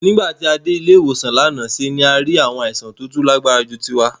Nígbà tí a dé ilé-ìwòsàn lánàá ṣe ni a rí àwọn àìsàn tó tún lágbára ju tiwa.